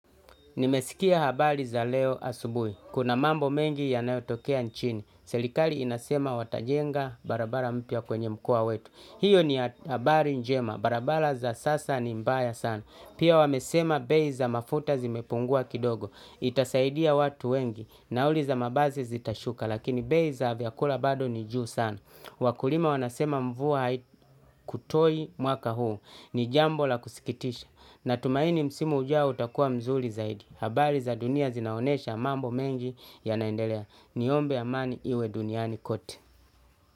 Nimesikia habari za leo asubuhi. Kuna mambo mengi yanayotokea nchini. Serikali inasema watajenga barabara mpya kwenye mkoa wetu hiyo ni habari njema. Barabara za sasa ni mbaya sana. Pia wamesema bei za mafuta zimepungua kidogo. Itasaidia watu wengi nauli za mabasi zitashuka lakini bei za vyakula bado ni juu sana wakulima wanasema mvua haikutoi mwaka huu ni jambo la kusikitisha natumaini msimu ujao utakuwa mzuri zaidi habari za dunia zinaonesha mambo mengi yanaendelea niombe amani iwe duniani kote.